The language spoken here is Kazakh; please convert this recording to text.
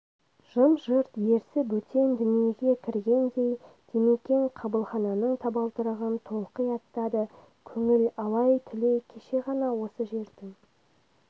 жым-жырт ерсі бөтен дүниеге кіргендей димекең қабылхананың табалдырығын толқи аттады көңіл алай-түлей кеше ғана осы жердің